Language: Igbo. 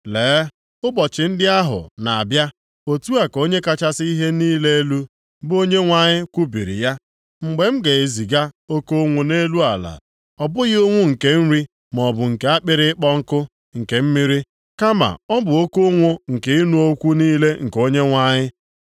“Lee, ụbọchị ndị ahụ na-abịa,” otu a ka Onye kachasị ihe niile elu, bụ Onyenwe anyị kwubiri ya, “mgbe m ga-eziga oke ụnwụ nʼelu ala, ọ bụghị ụnwụ nke nri maọbụ nke akpịrị ịkpọ nkụ nke mmiri, kama ọ bụ oke ụnwụ nke ịnụ okwu niile nke Onyenwe anyị.